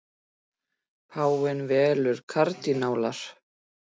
Páfi velur kardínála